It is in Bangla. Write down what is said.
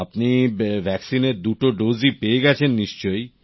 আপনি ভ্যাক্সিনের দুটো ডোজই পেয়ে গেছেন নিশ্চয়